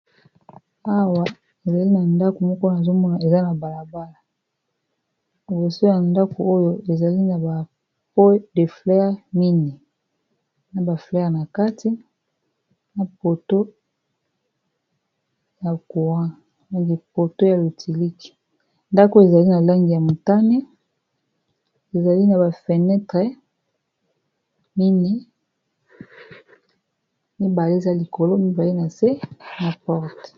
Awa ezali na ndako moko nazo mona eza na balabala liboso ya ndako oyo ezali na ba po de flere mine na ba flere na kati na poto ya lotilike ndako ezali na langi ya motane ezali na ba fenetre mine mibale eza likolo mibale na se na porte.